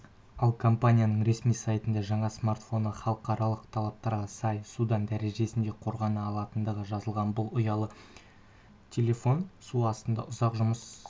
ал компаниясының ресми сайтында жаңа смартфоны халықаралық талаптарға сай судан дәрежесінде қорғана алатындығы жазылған бұл ұялы телефон су астында ұзақ жұмыс